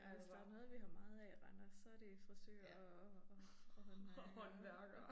Ja hvis der noget vi har meget af i Randers så det frisører og og og håndværkere